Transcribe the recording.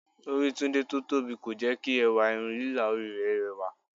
Orí Tunde tó tóbi kò jẹ́ kí ẹwà irun lílà orí rẹ̀ rẹwà